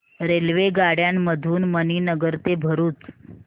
रेल्वेगाड्यां मधून मणीनगर ते भरुच